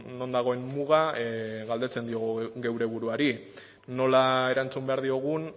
non dagoen muga galdetzen diogu geure buruari nola erantzun behar diogun